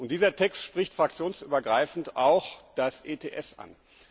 Dieser Text spricht fraktionsübergreifend auch das ETS an.